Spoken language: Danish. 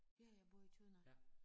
Ja jeg bor i Tønder